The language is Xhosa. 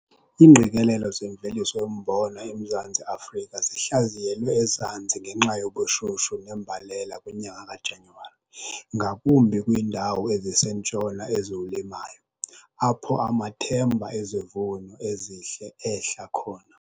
Iingqikelelo zemveliso yombona eMzantsi Afrika zihlaziyelwe ezantsi ngenxa yobushushu nembalela kwinyanga kaJanyuwari, ngakumbi kwiindawo ezisentshona eziwulimayo, apho amathemba ezivuno ezihle ehla khona.